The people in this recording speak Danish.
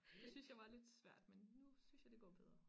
Det synes jeg var lidt svært men nu synes jeg det går bedre